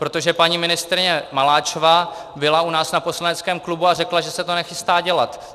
Protože paní ministryně Maláčová byla u nás na poslaneckém klubu a řekla, že se to nechystá dělat.